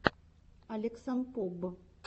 алексанпоб